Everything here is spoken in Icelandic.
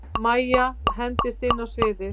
Mæja hendist inn á sviðið.